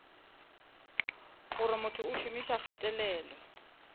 gore motho o šomiša kgatelelo